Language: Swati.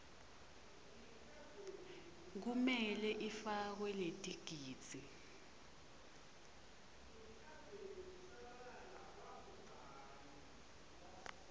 lekumele ifakwe letigidzi